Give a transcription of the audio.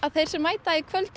þeir sem mæta í kvöld